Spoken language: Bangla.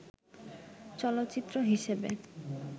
চলচ্চিত্র হিসেবে